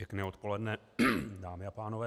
Pěkné odpoledne, dámy a pánové.